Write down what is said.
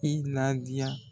I ladiya.